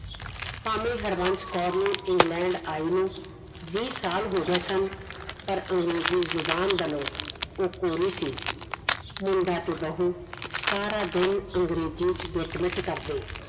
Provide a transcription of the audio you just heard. ਭਾਵੇਂ ਹਰਬੰਸ ਕੌਰ ਨੂੰ ਇੰਗਲੈਂਡ ਆਈ ਨੂੰ ਵੀਹ ਸਾਲ ਹੋ ਗਏ ਸਨ ਪਾਰ ਅੰਗਰੇਜ਼ੀ ਜ਼ੁਬਾਨ ਵਲੋਂ ਉਹ ਕੋਰੀ ਸੀ ਮੁੰਡਾ ਤੇ ਬਹੁ ਸਾਰਾ ਦਿਨ ਅੰਗਰੇਜ਼ੀ ਚ ਗਿਟ ਮਿਟ ਕਰਦੇ